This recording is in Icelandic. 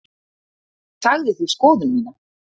Ég sagði því skoðun mína.